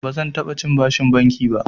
Bazan taɓa cin bashin banki ba.